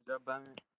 Ondjamba,